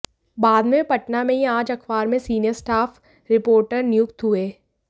बाद में वे पटना में ही आज अखबार में सीनियर स्टाफ रिपोर्टर नियुक्त हुए